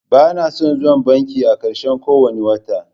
Bana son zuwa banki a ƙarshen kowane wata.